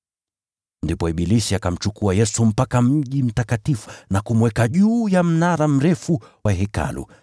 Ndipo ibilisi akamchukua Yesu mpaka mji mtakatifu na kumweka juu ya mnara mrefu wa Hekalu,